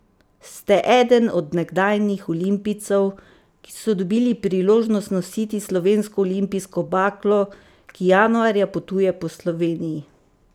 Ste eden od nekdanjih olimpijcev, ki so dobili priložnost nositi slovensko olimpijsko baklo, ki januarja potuje po Sloveniji.